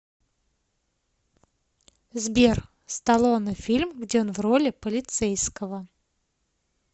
сбер сталлоне фильм где он в роли полицейского